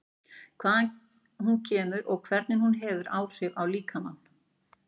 Hvaðan hún kemur og hvernig hún hefur áhrif á líkamann?